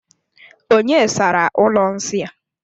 Onye sara ụlọ nsị a?